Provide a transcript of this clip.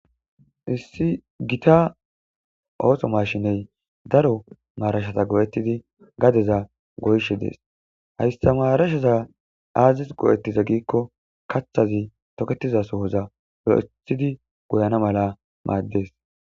issi gita ooso mashiney daro maarashata go7ettidi gadeza goyshe dees hayssa maarasheza aazis go7ettiza giikko kaththazi toketiza sohoza go7ethidi goyana mala maaddes